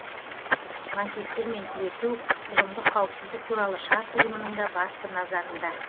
лаңкестермен күресу ұжымдық қауіпсіздік туралы шарт ұйымының да басты назарында